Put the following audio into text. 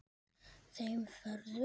Þeim ferðum.